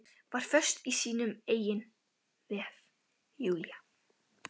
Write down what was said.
Var föst í sínum eigin vef, Júlía.